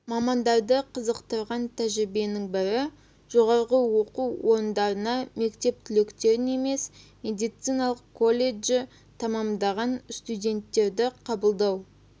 мамандарды қызықтырған тәжірибенің бірі жоғарғы оқу орындарына мектеп түлектерін емес медициналық колледжі тәмәмдаған студенттерді қабылдау